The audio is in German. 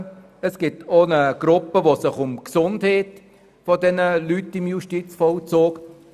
Auch beschäftigt sich eine Gruppe mit der Gesundheit der Menschen im Justizvollzug.